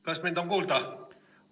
Kas mind on kuulda?